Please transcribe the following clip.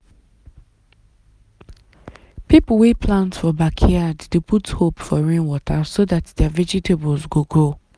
people wey plant for backyard dey put hope for rainwater so dat their vegetables go grow.